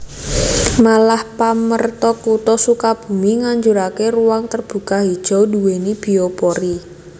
Malah pamrentah Kutha Sukabumi nganjurake ruang terbuka hijau duweni biopori